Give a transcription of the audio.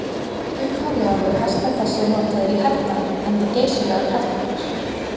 Upphaflega voru hestar þessir notaðir í hernaði enda geysilega kraftmiklir.